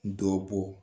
Dɔ bɔ